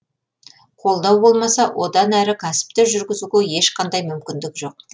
қолдау болмаса одан әрі кәсіпті жүргізуге ешқандай мүмкіндік жоқ